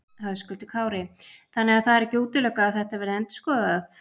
Höskuldur Kári: Þannig að það er ekki útilokað að þetta verði endurskoðað?